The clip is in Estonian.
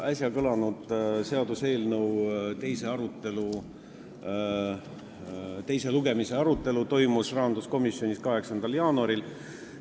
Äsja kõlanud pealkirjaga seaduseelnõu teise lugemise arutelu toimus rahanduskomisjonis 8. jaanuaril.